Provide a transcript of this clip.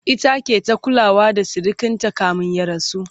ita ke ta kulawa da sirikinta kamin ya rasu